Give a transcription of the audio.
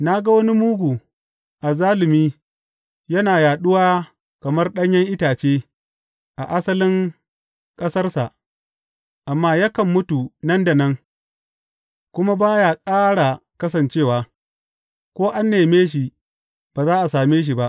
Na ga wani mugu, azzalumi, yana yaɗuwa kamar ɗanyen itace a asalin ƙasarsa, amma yakan mutu nan da nan kuma ba ya ƙara kasancewa; ko an neme shi, ba za a same shi ba.